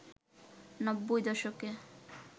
নব্বই দশকে